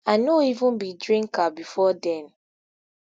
i no even be drinker before den